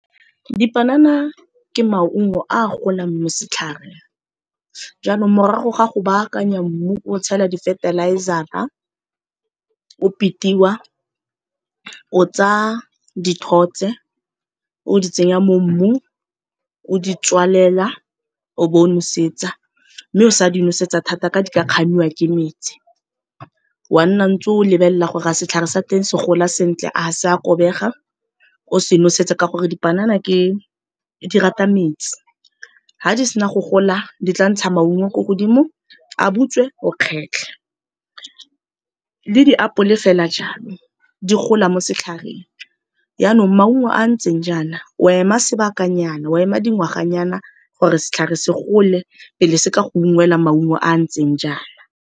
Dipanana ke maungo a golang mo setlhareng, jaanong morago ga go baakanya mmu o tshela di-fertilizer-ra o pitiwa, o tsaya dithotse o di tsenya mo mmung o di tswalela o bo o nosetsa, mme o sa di nosetsa thata ka di ka kgamiwa ke metsi. Wa nna ntse o lebelela gore a setlhare sa teng se gola sentle, a ga sa kobega, o se nosetsa ka gore dipanana di rata metsi. Ga di sena go gola di tla ntsha maungo ko godimo a butswe o kgetlhe, le diapole fela jalo di gola mo setlhareng. Jaanong maungo a a ntseng jaana o ema sebakanyana o ema dingwaganyana gore setlhare se gole pele se ka go ungwelwa maungo a a ntseng jaana.